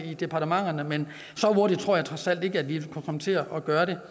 i departementet men så hurtigt tror jeg trods alt ikke at vi kan komme til at gøre det